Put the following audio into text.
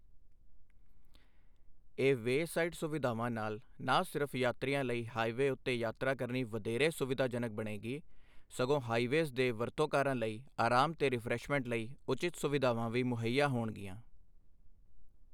ਇਹ ਵੇਅਸਾਈਡ ਸੁਵਿਧਾਵਾਂ ਨਾਲ ਨਾ ਸਿਰਫ਼ ਯਾਤਰੀਆਂ ਲਈ ਹਾਈਵੇਅ ਉੱਤੇ ਯਾਤਰਾ ਕਰਨੀ ਵਧੇਰੇ ਸੁਵਿਧਾਜਨਕ ਬਣੇਗੀ, ਸਗੋਂ ਹਾਈਵੇਅਜ਼ ਦੇ ਵਰਤੋਂਕਾਰਾਂ ਲਈ ਆਰਾਮ ਤੇ ਰਿਫ਼੍ਰੈਸ਼ਮੈਂਟ ਲਈ ਉਚਿਤ ਸੁਵਿਧਾਵਾਂ ਵੀ ਮੁਹੱਈਆ ਹੋਣਗੀਆਂ।